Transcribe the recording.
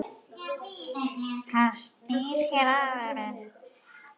Hann snýr sér að henni.